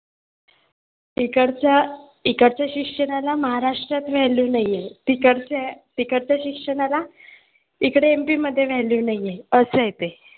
इकडच्या इकडच्या शिक्षणाला महाराष्ट्रात value नाही आहे. तिकडच्या शिक्षणाला इकडे MP मध्ये value नाही आहे, असं आहे ते